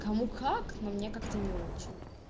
кому как но мне как-то не очень